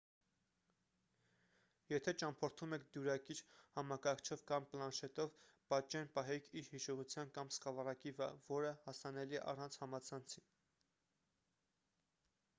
եթե ճամփորդում եք դյուրակիր համակարգչով կամ պլանշետով պատճեն պահեք իր հիշողության կամ սկավառակի վրա որը հասանելի է առանց համացանցի։